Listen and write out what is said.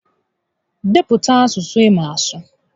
Depụta asụsụ ị maara asụ!